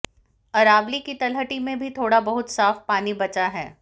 अरावली की तलहटी में ही थोड़ा बहुत साफ पानी बचा है